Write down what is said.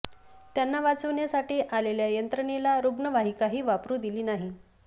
त्यांना वाचवण्यासाठी आलेल्या यंत्रणेला रुग्णवाहिकाही वापरू दिली नाही